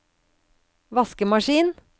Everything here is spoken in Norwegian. vaskemaskin